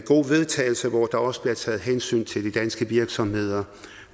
vedtagelse hvor der også bliver taget hensyn til de danske virksomheder